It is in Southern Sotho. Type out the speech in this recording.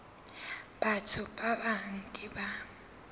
batho ba bang ke ba